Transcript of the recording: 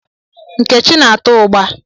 Nkechi na-ata ugba.